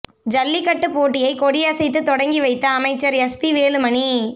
ஜல்லிக்கட்டுப் போட்டியை கொடியசைத்து தொடங்கி வைத்த அமைச்சர் எஸ் பி வேலுமணி